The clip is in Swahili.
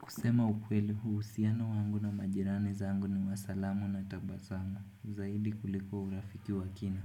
Kusema ukweli huusiana wangu na majirani zangu ni wa salamu na tabasamu zaidi kuliko urafiki wa kina